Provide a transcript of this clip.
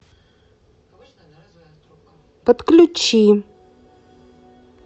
подключи